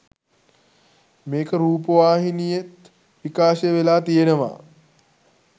මේක රූපවාහිනියෙත් විකාශය වෙලා තියෙනවා